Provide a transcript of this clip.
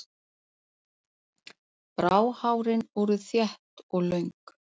Bráhárin voru þétt og löng.